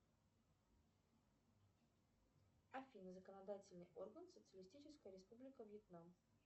афина законодательный орган социалистическая республика вьетнам